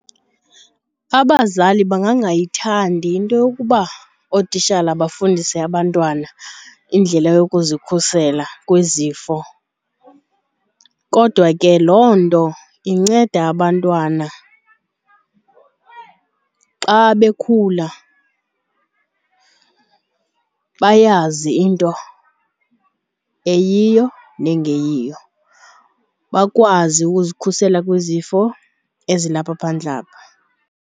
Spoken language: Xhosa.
Abazali bangangayithandi into yokuba ootitshala bafundise abantwana indlela yokuzikhusela kwizifo kodwa ke loo nto inceda abantwana xa bekhula bayazi into eyiyo na engeyiyo, bakwazi uzikhusela kwizifo ezilapha phandle apha.